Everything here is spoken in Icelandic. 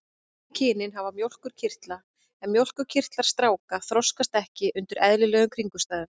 Bæði kynin hafa mjólkurkirtla en mjólkurkirtlar stráka þroskast ekki undir eðlilegum kringumstæðum.